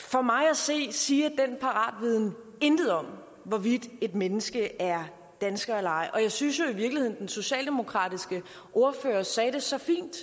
for mig at se siger den paratviden intet om hvorvidt et menneske er dansker eller ej og jeg synes jo i virkeligheden at den socialdemokratiske ordfører sagde det så fint